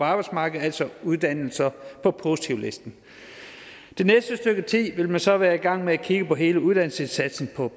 arbejdsmarkedet altså uddannelser på positivlisten det næste stykke tid vil man så være i gang med at kigge på hele uddannelsesindsatsen på